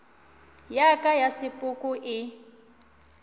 ya ka ya sepoko e